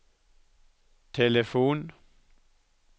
telefon